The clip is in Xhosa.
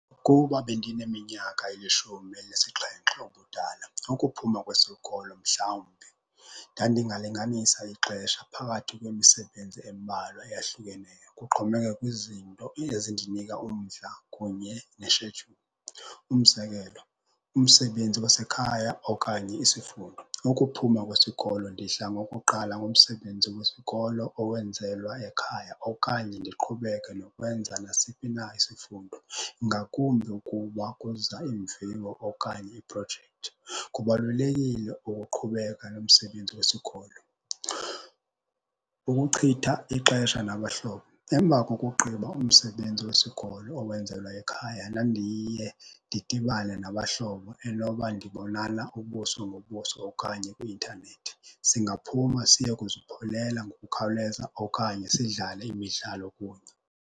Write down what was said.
Kuba bendineminyaka elishumi elinesixhenxe ubudala, ukuphuma kwesikolo mhlawumbi, ndandingalinganisa ixesha phakathi kwemisebenzi embalwa eyahlukeneyo kuxhomekeke kwizinto ezindinika umdla kunye neshedyuli, umzekelo umsebenzi wasekhaya okanye isifundo. Ukuphuma kwesikolo ndidlangokuqala ngomsebenzi wesikolo owenzelwa ekhaya okanye ndiqhubeke nokwenza nasiphi na isifundo, ngakumbi ukuba kuza iimviwo okanye iiprojekthi. Kubalulekile ukuqhubeka nomsebenzi wesikolo. Ukuchitha ixesha nabahlobo. Emva kokugqiba umsebenzi wesikolo owenzelwa ekhaya, ndandiye ndidibane nabahlobo enoba ndibonana ubuso ngobuso okanye kwi-intanethi. Singaphuma siye kuzipholela ngokukhawuleza okanye sidlale imidlalo kunye.